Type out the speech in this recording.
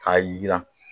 K'a jira